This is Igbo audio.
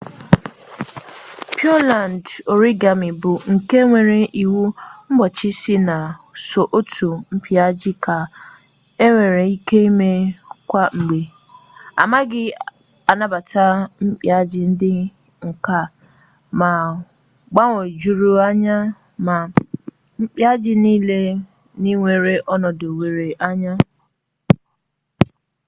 pịọland origami bụ nke nwere iwu mgbochi sị na sọ otu mpịaji ka enwere ike ime kwa mgbe anaghị anabata mpịaji ndị ka mgbagwoju anya ma mpịaji nile nwere ọnọdụ were anya